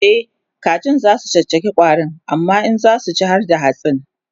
e kaji zasu caccaka ƙwarin amma in zasu ci harda hatsin